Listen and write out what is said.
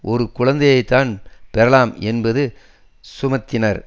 ஒரு குழந்தைதான் பெறலாம் என்பதை சுமத்தினார்